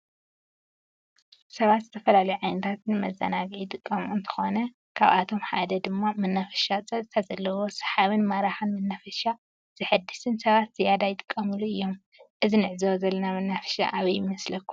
ሰባት ዝተፈላለዩ ዓይነታት ንመዘናጊዕ ይጥቀሙ እንትኮኑ ካበአቶመ ሓደ ድማ መናፈሻ ፀጥታ ዘለዎ ሳሓብን ማራክን መንፈሻ ዘሕድስን ሰባት ዝያዳ ይጥቀሙሉ እዩም። እዚ ንዕዞቦ ዘለና መናፈሻ አበይ ይመስለኩም?